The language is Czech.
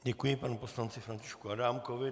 Děkuji panu poslanci Františku Adámkovi.